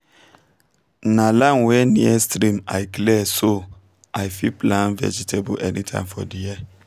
na land wey near stream i clear so i fit plant vegetable anytime for the year